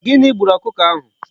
Gini gburu okuko ahu?